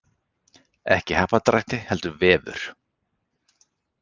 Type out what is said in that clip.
Ekki happdrætti heldur vefur